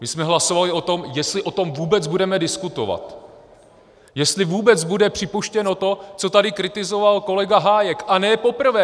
My jsme hlasovali o tom, jestli o tom vůbec budeme diskutovat, jestli vůbec bude připuštěno to, co tady kritizoval kolega Hájek, a ne poprvé!